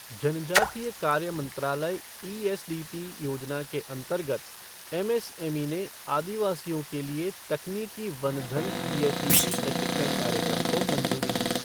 जनजातीय कार्य मंत्रालय ई एसडीपी योजना के अंतर्गत एमएसएमई ने आदिवासियों के लिए तकनीकी वनधन ईएसडीपी प्रशिक्षण कार्यक्रम को मंजूरी दी